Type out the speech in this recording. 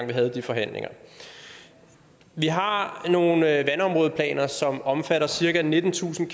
vi havde de forhandlinger vi har nogle vandområdeplaner som omfatter cirka nittentusind